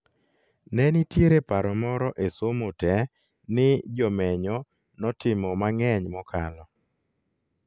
Nenitiere paro moro e somo te ni jomenyo notimo mang'eny mokalo